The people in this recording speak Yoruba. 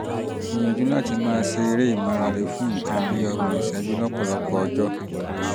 gbìyànjú láti máa ṣe eré ìmárale fún nǹkan bí ọgbọ̀n ìṣẹ́jú lọ́pọ̀lọpọ̀ ọjọ́